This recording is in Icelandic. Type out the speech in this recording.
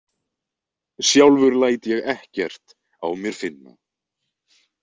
Sjálfur læt ég ekkert á mér finna.